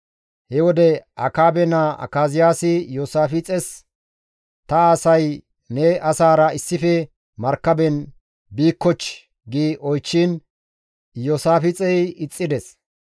He wode Akaabe naa Akaziyaasi Iyoosaafixes, «Ta asay ne asaara issife markaben biikkochchii?» gi oychchiin Iyoosaafixey ixxides.